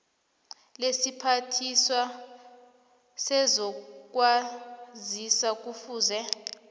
lesiphathiswa sezokwazisa kufuze